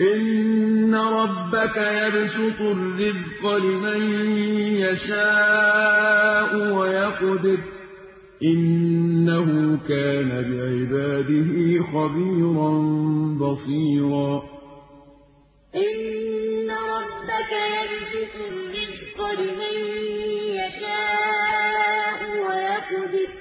إِنَّ رَبَّكَ يَبْسُطُ الرِّزْقَ لِمَن يَشَاءُ وَيَقْدِرُ ۚ إِنَّهُ كَانَ بِعِبَادِهِ خَبِيرًا بَصِيرًا إِنَّ رَبَّكَ يَبْسُطُ الرِّزْقَ لِمَن يَشَاءُ وَيَقْدِرُ ۚ